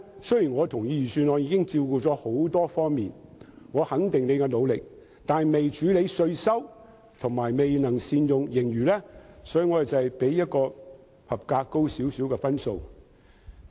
雖然我認同預算案已能照顧多方面的問題，對司長的努力予以肯定，但預算案未能處理稅收問題，以及未能善用盈餘，所以我給它較合格高少許的分數。